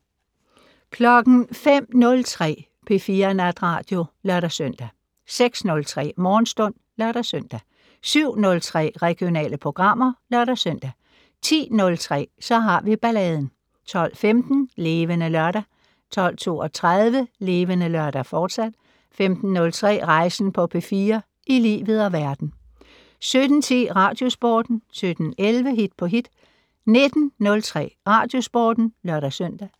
05:03: P4 Natradio (lør-søn) 06:03: Morgenstund (lør-søn) 07:03: Regionale programmer (lør-søn) 10:03: Så har vi balladen 12:15: Levende Lørdag 12:32: Levende Lørdag, fortsat 15:03: Rejsen på P4 - i livet og verden 17:10: Radiosporten 17:11: Hit på hit 19:03: Radiosporten (lør-søn)